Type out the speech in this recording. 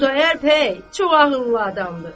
Xudayar bəy çox ağıllı adamdır.